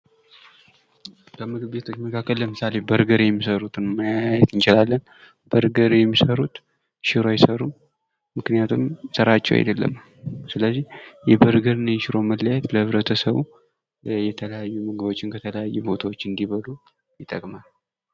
ከምግብ ቤቶች መካከል ለምሳሌ በርገር የሚሰሩትን ማየት እንችላለን በርገር የሚሰሩት ሽሮ አይሰሩም ። ምክንያቱም ስራቸው አይድለም ስለዚህ የበርገር እና ሽሮ መለያየት ለህብረተሰቡ የተለያዩ ምግቦችን ከተለያዩ ቦታዎች እንዲበሉ ይጠቅማል ።